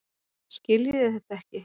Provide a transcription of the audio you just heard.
Skiljiði þetta ekki?